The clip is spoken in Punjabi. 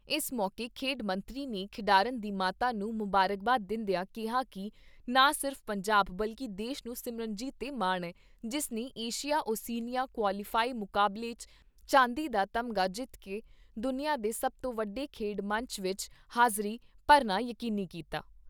ਇਸ ਮੌਕੇ ਖੇਡ ਮੰਤਰੀ ਨੇ ਖਿਡਾਰਨ ਦੀ ਮਾਤਾ ਨੂੰ ਮੁਬਾਰਕਬਾਦ ਦਿੰਦਿਆਂ ਕਿਹਾ ਕਿ ਨਾ ਸਿਰਫ਼ ਪੰਜਾਬ, ਬਲਕਿ ਦੇਸ਼ ਨੂੰ ਸਿਮਰਜੀਤ 'ਤੇ ਮਾਣ ਐ, ਜਿਸ ਨੇ ਏਸ਼ੀਆ ਓਸੀਨੀਆ ਕੁਆਲੀਫਾਈ ਮੁਕਾਬਲੇ 'ਚ ਚਾਂਦੀ ਦਾ ਤਮਗਾ ਜਿੱਤ ਕੇ ਦੁਨੀਆਂ ਦੇ ਸਭ ਤੋਂ ਵੱਡੇ ਖੇਡ ਮੰਚ ਵਿਚ ਹਾਜ਼ਰੀ ਭਰਨਾ ਯਕੀਨੀ ਕੀਤਾ।